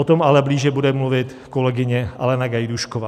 O tom ale blíže bude mluvit kolegyně Alena Gajdůšková.